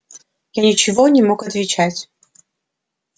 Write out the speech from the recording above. я ничего не мог отвечать